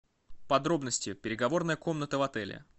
подробности переговорная комната в отеле